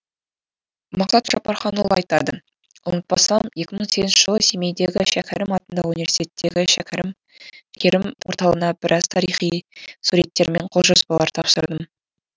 мақсат жаппарханұлы айтады ұмытпасам екі мың сегізінші жылы семейдегі шәкерім атындағы университеттегі шәкерім орталығына біраз тарихи суреттер мен қолжазбалар тапсырдым